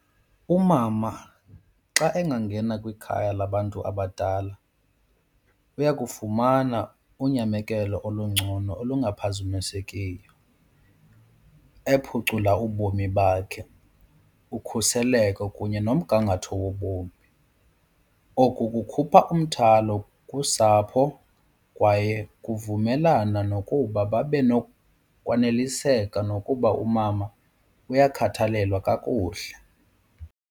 Umama xa engangena kwikhaya labantu abadala uyakufumana unyamekelo olungcono olungaphazamisekiyo ephucula ubomi bakhe ukhuseleko kunye nomgangatho wobomi. Oku kukhupha umthwalo kusapho kwaye kuvumelana nokuba babe nokwaneliseka nokuba umama uyakhathalelwa kakuhle.